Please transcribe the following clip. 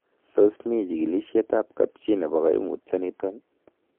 Tos mi chikilisietab kapchi nebo koimutioniton?